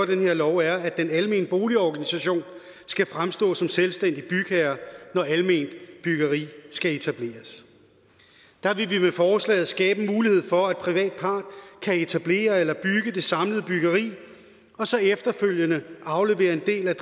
den her lov er at den almene boligorganisation skal fremstå som selvstændig bygherre når alment byggeri skal etableres der vil vi med forslaget skabe en mulighed for at privat part kan etablere eller bygge det samlede byggeri og så efterfølgende aflevere en del af